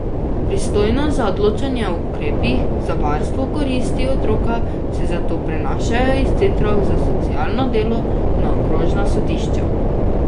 Pristojnost za odločanje o ukrepih za varstvo koristi otroka se zato prenašajo iz centrov za socialno delo na okrožna sodišča.